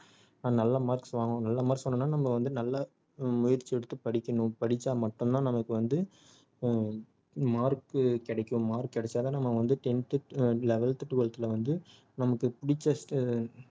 அஹ் நல்ல marks வாங்கணும் நல்ல marks வாங்கணும்னா நம்ம வந்து நல்ல முயற்சி எடுத்து படிக்கணும் படிச்சா மட்டும் தான் நமக்கு வந்து அஹ் mark கிடைக்கும் mark கிடைச்சா தான் நம்ம வந்து tenth ஹம் eleventh twelveth ல வந்து நமக்கு புடிச்ச ஆஹ்